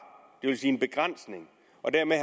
det vil sige en begrænsning og